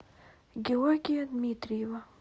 георгия дмитриева